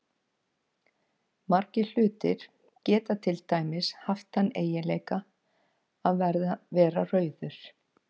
Margir hlutir geta til dæmis haft þann eiginleika að vera rauður.